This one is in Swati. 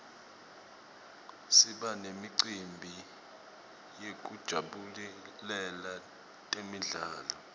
siba nemicimbi yekujabulela temidlalo